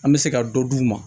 An bɛ se ka dɔ d'u ma